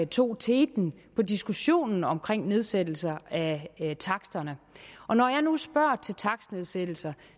tog teten i diskussionen om nedsættelse af taksterne og når jeg nu spørger til takstnedsættelser